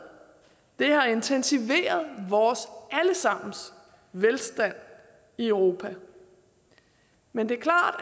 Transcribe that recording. det har intensiveret vores alle sammens velstand i europa men det